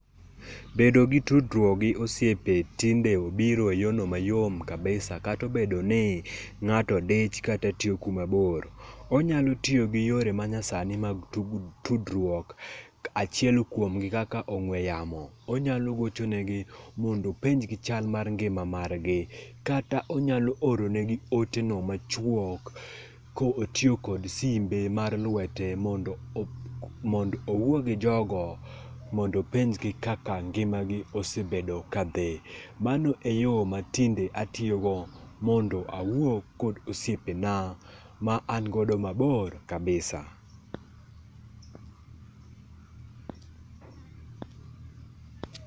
Bedo gi tudruok gi osiepe tinde obiro e yo no mayom kabisa kata obedo ni ng'ato dich kata tiyo kuma bor. Onyalo tiyo gi yore ma nyasani mag tudruok, achiel kuom gi kaka ong'we yamo. Onyalo gocho negi mondo openj gi chal mar ngima mar gi. Kata onyalo oro ne gi ote no machuok ka otiyo kod simbe mar lwete mondo mondo owuo gi jogo mondo openj gi kaka ngima gi osebedo ka dhi. Mano e yo ma tinde atiyo go mondo awuo kod osiepe na ma an godo mabor kabisa.